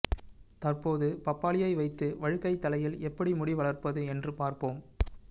தற்போது பப்பாளியை வைத்து வழுக்கை தலையில் எப்படி முடி வளரப்பது என்று பார்ப்போம்